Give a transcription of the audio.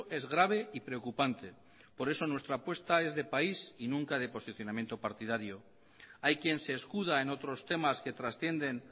es grave y preocupante por eso nuestra apuesta es de país y nunca de posicionamiento partidario hay quien se escuda en otros temas que trascienden